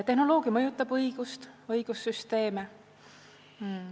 Tehnoloogia mõjutab õigust, õigussüsteeme.